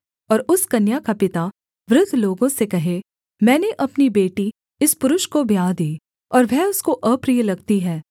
और उस कन्या का पिता वृद्ध लोगों से कहे मैंने अपनी बेटी इस पुरुष को ब्याह दी और वह उसको अप्रिय लगती है